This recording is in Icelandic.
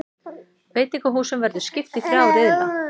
Veitingahúsunum verður skipt í þrjá riðla